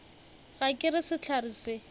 ga ke re sehlare se